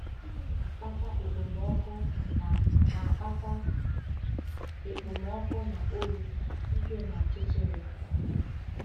Gịnị na-akpata ekpomọkụ na na-akpata ekpomọkụ na oyi, ìhè na ọchịchịrị?